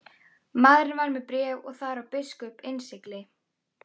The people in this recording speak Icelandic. Maðurinn var með bréf og þar á biskups innsigli.